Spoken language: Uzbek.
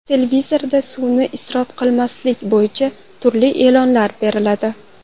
Televizorda suvni isrof qilmaslik bo‘yicha turli e’lonlar beriladi.